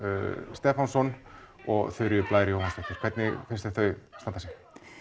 Stefánssyni og Þuríði Blæ Jóhannsdóttur hvernig finnst þau standa sig